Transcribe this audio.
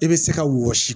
I bɛ se ka wɔsi